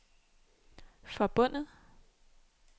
forbundet